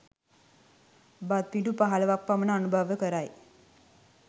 බත්පිඬු පහළොවක් පමණ අනුභව කරයි